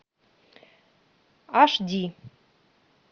аш ди